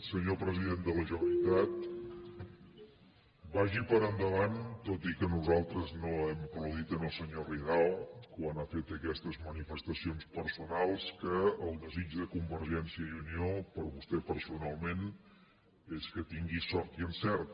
senyor president de la generalitat vagi per endavant tot i que nosaltres no hem aplaudit el senyor ridao quan ha fet aquestes manifestacions personals que el desig de convergència i unió per a vostè personalment és que tingui sort i encert